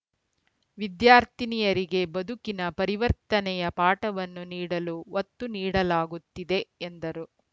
ವಿದ್ಯಾರ್ಥಿನಿಯರಿಗೆ ಬದುಕಿನ ಪರಿವರ್ತನೆಯ ಪಾಠವನ್ನು ನೀಡಲು ಒತ್ತು ನೀಡಲಾಗುತ್ತಿದೆ ಎಂದರು